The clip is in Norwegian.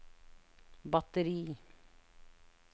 batteri